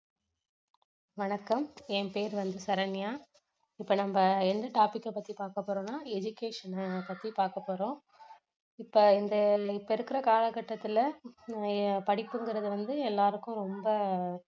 வணக்கம் என் பெயர் வந்து சரண்யா இப்போ நம்ப எந்த topic அ பத்தி பாக்க போறோம்னா education அ பத்தி பாக்க போறோம் இப்போ இந்த இப்போ இருக்குற காலகட்டத்துல படிப்புங்குறது வந்து எல்லாருக்கும் ரொம்ப